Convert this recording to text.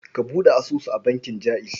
Ka buɗe asusu a bankin Jaiz.